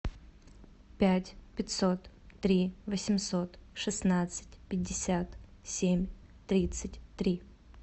пять пятьсот три восемьсот шестнадцать пятьдесят семь тридцать три